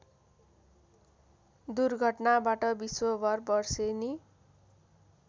दुर्घटनाबाट विश्वभर वर्षेनी